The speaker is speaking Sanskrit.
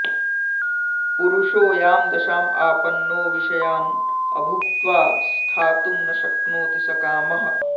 पुरुषो यां दशाम् आपन्नो विषयान् अभुक्त्वा स्थातुं न शक्नोति स कामः